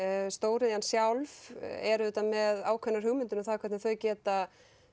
stóriðjan sjálf er auðvitað með ákveðnar hugmyndir um það hvernig þau geta